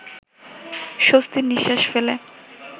স্বস্তির নিঃশ্বাস ফেলে